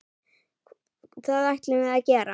Það ætlum við að gera.